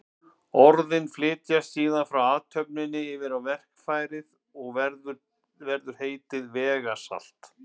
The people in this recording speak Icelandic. Orðin flytjast síðan frá athöfninni yfir á verkfærið og til verður heitið vegasalt.